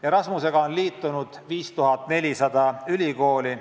Erasmusega on liitunud üle 5400 ülikooli.